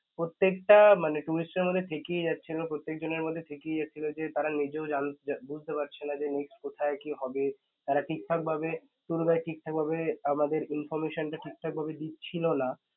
প্রত্যেকটা মানে tourist দের মধ্যে দেখি যে তারা নিজেও জানতে, বুঝতে পারছে না যে মানে কোথায় কি হবে? তারা ঠিকঠাকভাবে মানে tour guide ঠিকঠাকভাবে আমাদের information ঠিকঠাকভাবে টা দিচ্ছিল না